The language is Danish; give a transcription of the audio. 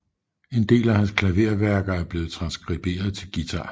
En del af hans klaverværker er blevet transkriberet til guitar